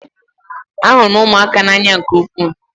Ahụrụ m ụmụaka n'anya nke ukwuu